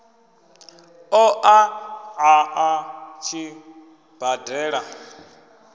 ṱo ḓa a tshi badela